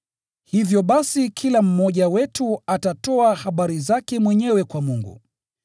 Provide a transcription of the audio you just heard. Hivyo basi kila mmoja wetu atatoa habari zake mwenyewe kwa Mungu.